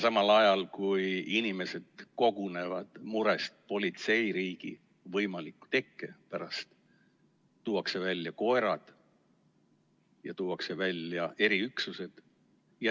Samas, kui inimesed kogunevad murest politseiriigi võimaliku tekke pärast, tuuakse välja koerad ja eriüksused.